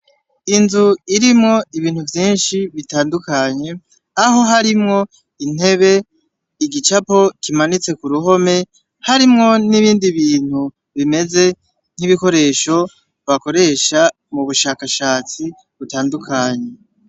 Inzu irimwo ibintu vyinshi bitandukanye aho harimwo intebe igicapo kimanitse ku ruhome harimwo n'ibindi bintu bimeze nk'ibikoresho bakoresha mu bushakashatsi butandukanye.